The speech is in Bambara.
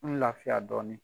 N lafiya dɔɔnin.